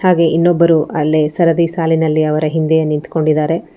ಹಾಗೆ ಇನ್ನೊಬ್ಬರು ಅಲ್ಲೇ ಸರದಿ ಸಾಲಿನಲ್ಲಿ ಅವರ ಹಿಂದೆಯೇ ನಿಂತ್ಕೊಂಡಿದಾರೆ.